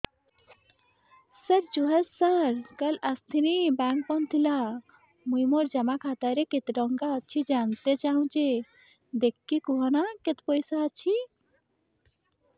ସାର ଜୁହାର ସାର କାଲ ଆସିଥିନି ବେଙ୍କ ବନ୍ଦ ଥିଲା ମୁଇଁ ମୋର ଜମା ଖାତାରେ କେତେ ଟଙ୍କା ଅଛି ଜାଣତେ ଚାହୁଁଛେ ଦେଖିକି କହୁନ ନା କେତ ପଇସା ଅଛି